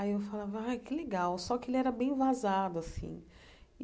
Aí eu falava, ai que legal, só que ele era bem vazado assim.